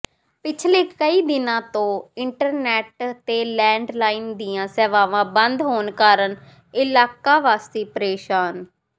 ਪਿਛਲੇ ਕਈ ਦਿਨਾਂ ਤੋ ਇੰਟਰਨੈਟ ਤੇ ਲੈਂਡਲਾਇਨ ਦੀਆਂ ਸੇਵਾਵਾਂ ਬੰਦ ਹੋਣ ਕਾਰਨ ਇਲਾਕਾਵਾਸੀ ਪ੍ਰੇਸ਼ਾਨ